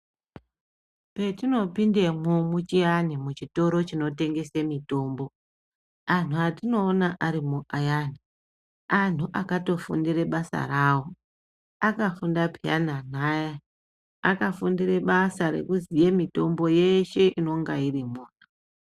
Petinopindemwo muchiyani muchitoro chinotengese mitombo anhu atinoona arimwo ayani anhu akatofundira basa rawo. Akafunda peyani anhu aya. Akafundire basa rekuziya mitombo yeshe inenge irimwo.